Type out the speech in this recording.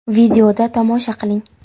Videoda tomosha qiling.